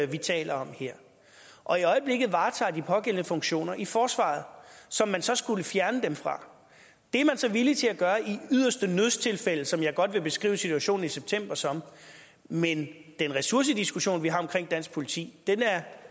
vi taler om her og i øjeblikket varetager de pågældende funktioner i forsvaret som man så skulle fjerne dem fra det er man så villig til at gøre i yderste nødstilfælde som jeg godt vil beskrive situationen i september som men den ressourcediskussion vi har omkring dansk politi